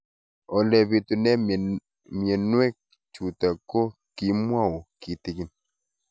Ole pitune mionwek chutok ko kimwau kitig'�n